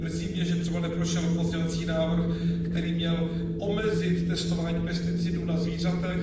Mrzí mě, že třeba neprošel pozměňovací návrh, který měl omezit testování pesticidů na zvířatech.